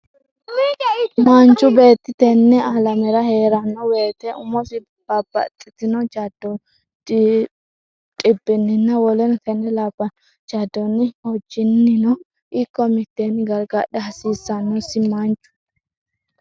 Manchu beetti tenne alamera hee’ranno wote umosi babbaxxitno jaddonni, dhibbinninna woleno tenne labbanno jaddonni hojjinnino ikko mitteenni gargadha hasiissannosi Manchu.